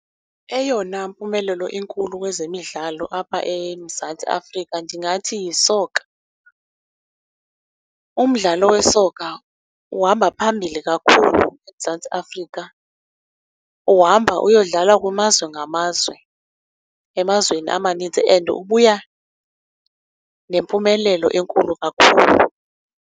Eyona mpumelelo inkulu kwezemidlalo apha eMzantsi Afrika ndingathi yisoka. Umdlalo wesoka uhamba phambili kakhulu eMzantsi Afrika, uhamba uyodlala kumazwe ngamazwe, emazweni amaninzi and ubuya nempumelelo enkulu kakhulu.